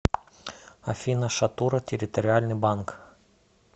афина шатура территориальный банк